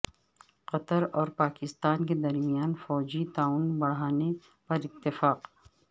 قطر اور پاکستان کے درمیان فوجی تعاون بڑھانے پر اتفاق